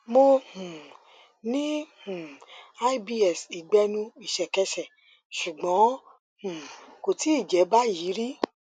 mo um ní um ibs ìgbẹnu ìṣẹkẹsẹ ṣùgbọn um kò tíì jẹ báyìí rí